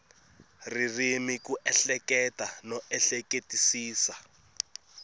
ririmi ku ehleketa no ehleketisisa